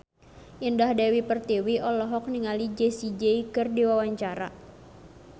Indah Dewi Pertiwi olohok ningali Jessie J keur diwawancara